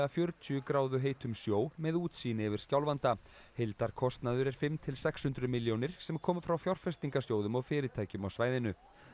fjörutíu gráðu heitum sjó með útsýni yfir Skjálfanda heildarkostnaður er fimm til sex hundruð milljónir sem koma frá fjárfestingasjóðum og fyrirtækjum á svæðinu